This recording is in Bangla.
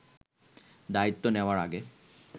দায়িত্ব নেয়ার আগে